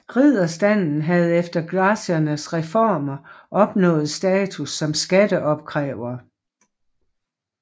Ridderstanden havde efter Gracchernes reformer opnået status som skatteopkrævere